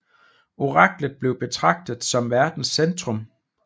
Oraklet blev betragtet som verdens centrum